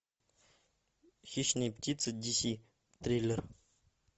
хищные птицы ди си триллер